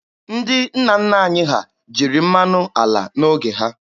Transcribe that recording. Ndị nna nna anyị ha jiri mmanụ ala n'oge ha.